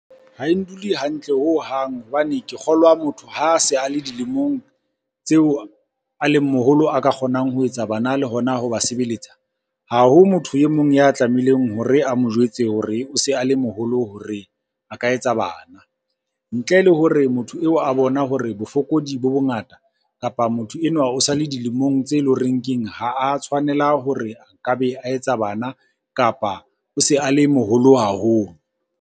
Ha e ndule hantle hohang, hobane ke kgolwa motho ha a se a le dilemong tseo a leng moholo a ka kgonang ho etsa bana le hona ho ba sebeletsa. Ha ho motho e mong ya tlamehileng hore a mo jwetse hore o se a le moholo hore a ka etsa bana. Ntle le hore motho eo a bona hore bofokodi bo bongata, kapa motho enwa o sa le dilemong tse leng horeng keng ha a tshwanela hore a ka be a etsa bana, kapa o se a le moholo haholo.